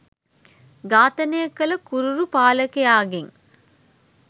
ඝාතනය කළ කුරිරු පාලකයාගෙන්